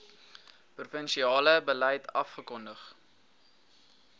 provinsiale beleid afgekondig